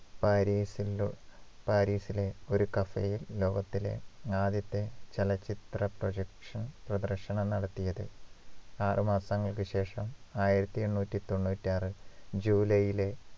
പാരീസിന്റെ പാരിസിലെ ഒരു cafe യിൽ ലോകത്തിലെ ആദ്യത്തെ ചലച്ചിത്ര projection പ്രദർശനം നടത്തിയത് ആറുമാസങ്ങൾക്ക് ശേഷം ആയിരത്തിഎണ്ണൂറ്റിതൊണ്ണൂറ്റിയാറ് ജൂലൈയിലെ